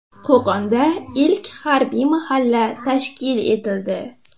Qo‘qonda ilk harbiy mahalla tashkil etildi .